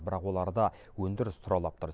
бірақ оларда өндіріс тұралап тұр